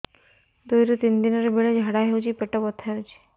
ଦୁଇରୁ ତିନି ଦିନରେ ବେଳେ ଝାଡ଼ା ହେଉଛି ପେଟ ବଥା ହେଉଛି